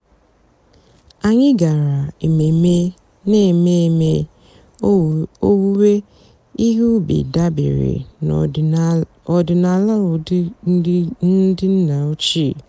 ányị́ gàrà èmèmè nà-èmée èmèmè òwùwé íhé ùbì dàbèré n'ọ̀dị́náàlà ụ́dà ndị́ nná òchíé.